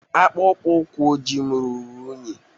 Akpụkpọ ụkwụ ojii m ruru unyi.